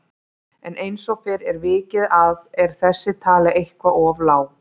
En eins og fyrr er vikið að er þessi tala eitthvað of lág.